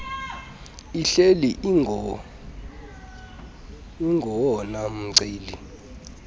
ihleli ingowona mceli